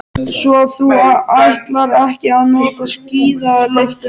Svo þú ætlar ekki að nota skíðalyftuna.